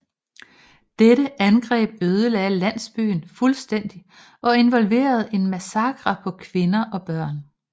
Dette angreb ødelagde landsbyen fuldstændigt og involverede en massakre på kvinder og børn